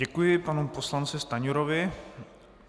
Děkuji panu poslanci Stanjurovi.